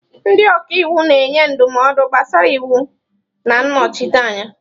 Ndị ọka iwu na-enye ndụmọdụ gbasara iwu na nnọchite anya.